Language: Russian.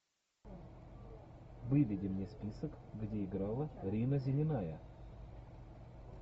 выведи мне список где играла рина зеленая